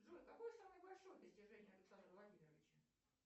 джой какое самое большое достижение александра владимировича